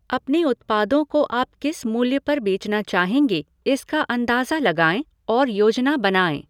अपने उत्पादों को आप किस मूल्य पर बेचना चाहेंगे इसका अंदाज़ा लगाएँ और योजना बनाएँ।